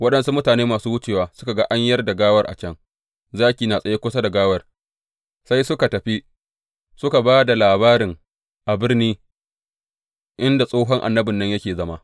Waɗansu mutane masu wucewa suka ga an yar da gawar a can, zaki yana tsaye kusa da gawar, sai suka tafi suka ba da labarin a birni inda tsohon annabin nan yake zama.